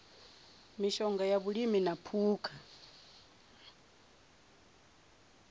mishonga ya vhulimi na phukha